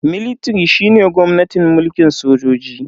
Military shine gwamnatin mulkin sojoji.